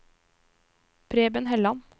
Preben Helland